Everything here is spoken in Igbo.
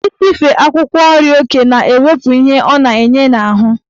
Isife akwụkwọ nri oke na-ewepụ ihe ọ na-enye n'ahụ.